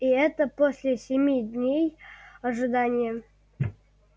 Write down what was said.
и это после семи дней ожидания